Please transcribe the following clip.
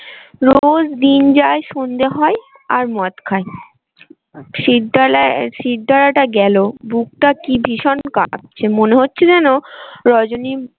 রোজ দিন যায় সন্ধ্যে হয় আর মদ খায় শিরডালা শিরদাঁড়াটা গেলো বুকটা কি ভীষণ কাঁপছে মনে হচ্ছে যেন রজনী।